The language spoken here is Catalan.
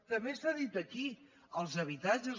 també s’ha dit aquí els habitatges